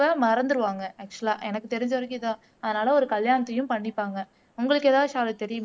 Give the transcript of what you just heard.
மறந்துருவாங்க ஆக்சுவலா எனக்கு தெரிஞ்சவரைக்கும் இதான் அதனால ஒரு கல்யாணத்தையும் பண்ணிப்பாங்க உங்களுக்கு எதாவது ஷாலு தெரியுமா?